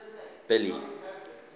billy